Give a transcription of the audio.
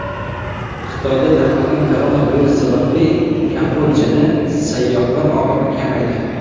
Xitoyda tarqalgan koronavirus sababli Kambodjada sayyohlar oqimi kamaydi .